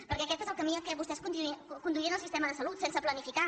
perquè aquest és el camí a què vostès conduïen el sistema de salut sense planificar